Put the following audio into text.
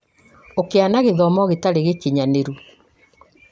ũkĩa na gĩthomo gĩtarĩ gĩkinyanĩru